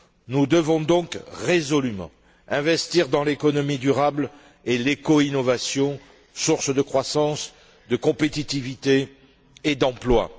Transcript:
Nous devons donc résolument investir dans l'économie durable et l'éco innovation, sources de croissance, de compétitivité et d'emplois.